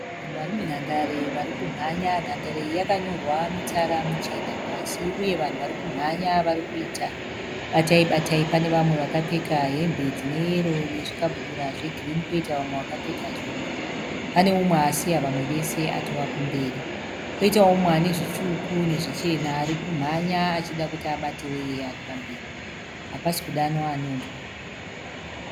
Vanhu vari munhandare vari kumhanya. Nhandare iyi yakanyorwa mitsara michena pasi uye vanhu vari kumhanya vari kuita batayi batayi. Pane vamwe vakapfeka hembe dzine yero nezvikabudura zvegirini koita vamwe vakapfeka zvebhuruu. Pane umwe asiya vamwe vese atova kumberi. Poitawo mumwe ane zvitsvuku nezvichena ari kumhanya achida kuti abate uya ari pamberi. Hapasi kudanwa anonzwa.